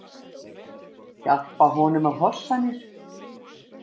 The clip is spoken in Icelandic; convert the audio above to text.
Hjálpa honum að hossa mér.